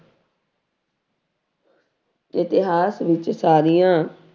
ਇਤਿਹਾਸ ਵਿੱਚ ਸਾਰੀਆਂ